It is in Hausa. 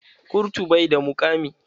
Kurtu bai da muƙami.